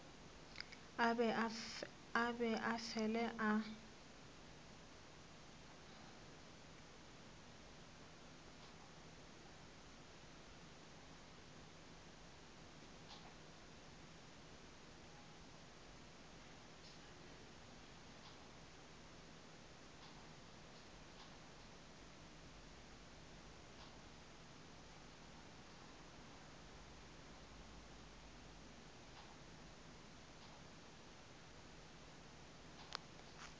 a be a fele a